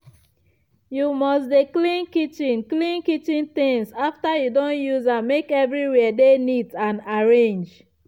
you must dey clean kitchen clean kitchen things after you don use am make everywhere for dey neat and arrange.